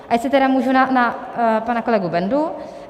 A jestli tedy můžu na pana kolegu Bendu.